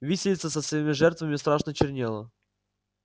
виселица со своими жертвами страшно чернела